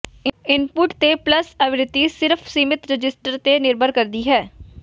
input ਤੇ pulse ਆਵਿਰਤੀ ਸਿਰਫ਼ ਸੀਮਿਤ ਰਜਿਸਟਰ ਤੇ ਨਿਰਭਰ ਕਰਦੀ ਹੈ